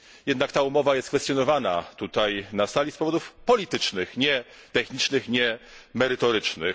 Jednak ta umowa jest kwestionowana na tej sali z powodów politycznych, nie technicznych, nie merytorycznych.